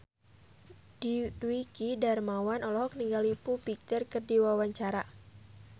Dwiki Darmawan olohok ningali Foo Fighter keur diwawancara